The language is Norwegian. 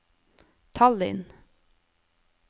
Tallinn